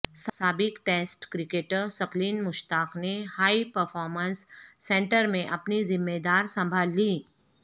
سابق test cricketer Saqlain Mushtaq نے high performance centre میں اپنی زمہ دار سنبھال لیں